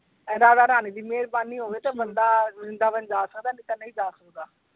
ਏਦਾਂ ਦਾ ਰਾਣੀ ਦੀ ਮੇਹਰਬਾਨੀ ਹੋਵੇ ਤੇ ਬੰਦਾ ਵ੍ਰਿੰਦਾਵਨ ਜਾ ਸਕਦਾ ਹੈ ਨਹੀਂ ਤਾਂ ਨਹੀਂ ਜਾ ਸਕਦਾ।